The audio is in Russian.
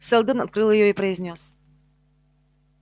сэлдон открыл её и произнёс